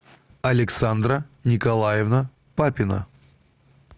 александра николаевна папина